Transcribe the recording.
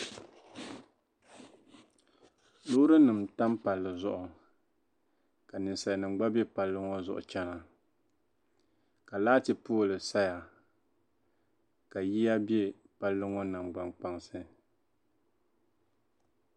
loorinima n-tam palli zuɣu ka ninsalinima gba be palli maa zuɣu n-chena ka laati pooli saya ka yiya be palli ŋɔ naŋgbaŋ kpaŋsi